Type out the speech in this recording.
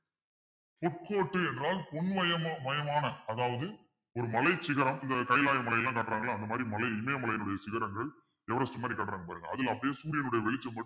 என்றால் அதாவது ஒரு மலைச்சிகரம் இந்த கைலாய மலையெல்லாம் கட்டறாங்கள்ல அந்த மாதிரி மலை இமய மலையினுடைய சிகரங்கள் everest மாறி காட்டுறாங்க பாருங்க அதுல அப்படியே சூரியனுடைய வெளிச்சம் மட்டும்